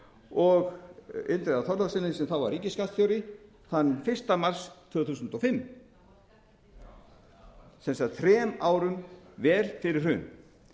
og indriða h þorlákssyni sem þá var ríkisskattstjóri þann fyrsta mars tvö þúsund og fimm sem sagt vel þrem árum fyrir hrun